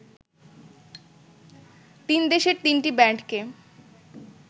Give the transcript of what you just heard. তিন দেশের তিনটি ব্যান্ডকে